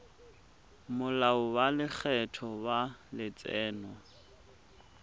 molao wa lekgetho wa letseno